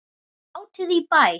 Hátíð í bæ